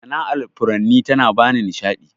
Sana'ar furanni ta na bani nishaɗi.